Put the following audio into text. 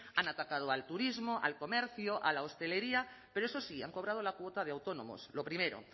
han atacado al turismo al comercio a la hostelería pero eso sí han cobrado la cuota de autónomos lo primero